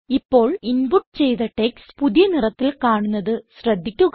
ഇപ്പോൾ ഇൻപുട്ട് ചെയ്ത ടെക്സ്റ്റ് പുതിയ നിറത്തിൽ കാണുന്നത് ശ്രദ്ധിക്കുക